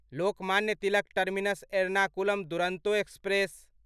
Lokmanya Tilak terminus Ernakulam Duronto express